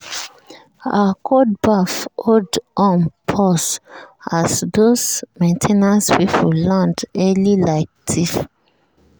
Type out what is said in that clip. her cold baff hold on pause as those main ten ance people land early like thief.